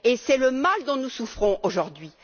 C'est le mal dont nous souffrons aujourd'hui.